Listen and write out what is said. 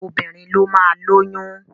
Obìnrin ló máa lóyún.